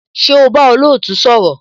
Ṣé o bá olootu sọ̀rọ̀?